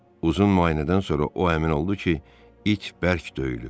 Uzun müayinədən sonra o əmin oldu ki, it bərk döyülüb.